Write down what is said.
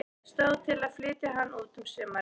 Stóð til að flytja hann út um sumarið.